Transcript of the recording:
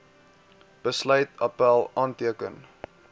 besluit appèl aanteken